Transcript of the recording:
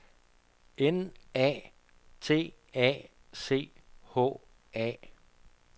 N A T A C H A